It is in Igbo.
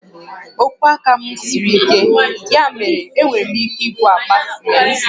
Ogwe aka m siri ike, ya mere enwere m ike ibu àkpà simenti